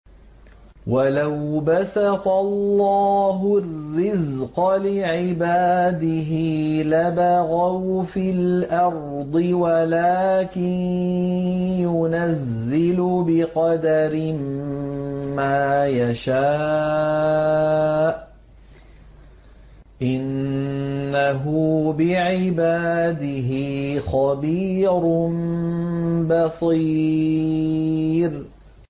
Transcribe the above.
۞ وَلَوْ بَسَطَ اللَّهُ الرِّزْقَ لِعِبَادِهِ لَبَغَوْا فِي الْأَرْضِ وَلَٰكِن يُنَزِّلُ بِقَدَرٍ مَّا يَشَاءُ ۚ إِنَّهُ بِعِبَادِهِ خَبِيرٌ بَصِيرٌ